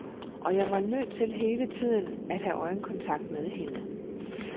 Og jeg var nødt til hele tiden at have øjenkontakt med hende.